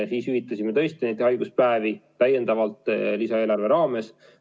Me hüvitasime tõesti neid haiguspäevi täiendavalt lisaeelarve raames.